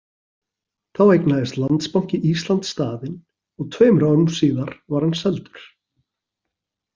Þá eignaðist Landsbanki Íslands staðinn og tveimur árum síðar var hann seldur.